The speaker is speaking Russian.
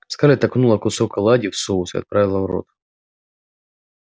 скарлетт окунула кусок оладьи в соус и отправила в рот